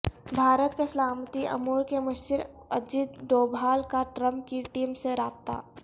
بھارت کے سلامتی امور کے مشیر اجیت ڈوبھال کا ٹرمپ کی ٹیم سے رابطہ